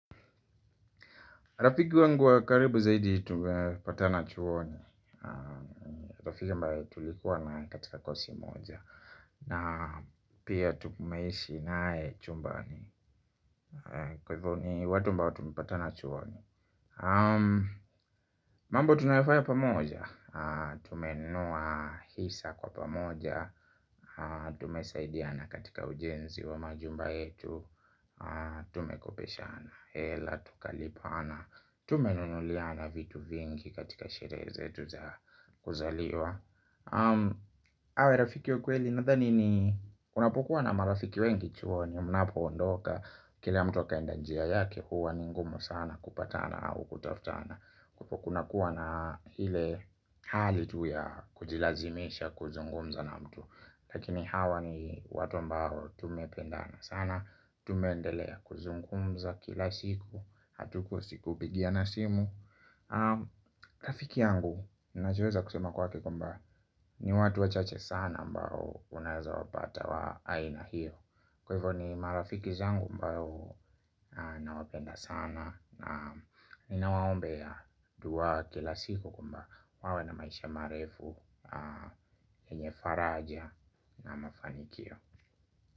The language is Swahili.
Rafiki wangu wa karibu zaidi tumepatana chuoni. Tufika ambae tulikuwa na katika kosi moja. Na pia tumeishi nae chumbani. Kwa hivyo ni watu mbao tumepatana chuoni. Mambo tunafaya pamoja. Tumenua hisa kwa pamoja. Tumesaidiana katika ujenzi wa majumba yetu. Tumekopeshana hela tukalipana. Tumenunuliana vitu vingi katika shere zetu za kuzaliwa. Awe rafiki wa kueli nathani ni unapokuwa na marafiki wengi chuoni mnapoondoka. Kila mtu akaenda njia yake huwa ni ngumu sana kupatana au kutaftana. Kupo kunakuwa na hile hali tu ya kujilazimisha kuzungumza na mtu. Lakini hawa ni watu ambao tumependana sana. Tumendelea kuzungumza kila siku Hatukosi kubigiana simu rafiki yangu. Ninachoeza kusema kwake kuambaa. Ni watu wachache sana ambao unaeza wapata wa aina hiyo. Kwevo ni marafiki zangu ambao nawapenda sana. Na ninawaombeya dua kila siku kwamba wawe na maisha marefu enye faraja na mafanikio.